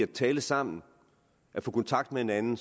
tale sammen og få kontakt med hinanden